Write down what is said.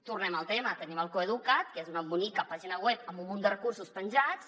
tornem al tema tenim el coeduca’t que és una bonica pàgina web amb un munt de recursos penjats